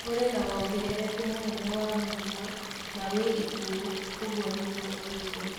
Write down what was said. Kũrĩ na wongerereku mũnene wa mũrimũ ... na wa ikuũ, ũguo nĩguo oigire.